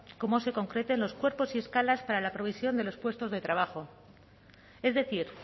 cómo se concreten los cuerpos y escalas para la provisión de los puestos de trabajo es decir